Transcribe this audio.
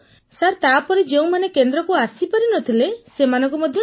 sir ତାପରେ ଯେଉଁମାନେ କେନ୍ଦ୍ରକୁ ଆସିପାରି ନ ଥିଲେ ସେମାନଙ୍କୁ ଟିକା ଦିଆଗଲା